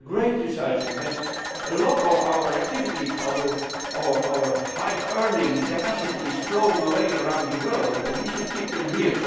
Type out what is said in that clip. We have great researchers, but a lot of our activities and high earning capacities are flowing away around the world, and we should keep them here.